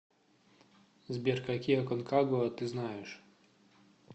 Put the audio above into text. сбер какие аконкагуа ты знаешь